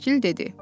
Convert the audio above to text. Vəkil dedi.